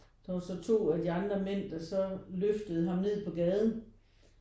Og så 2 af de andre mænd der så løftede ham ned på gaden